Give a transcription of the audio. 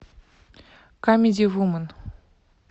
камеди вумен